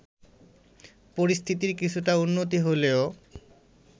পরিস্থিতির কিছুটা উন্নতি হলেও